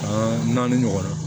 An naani ɲɔgɔnna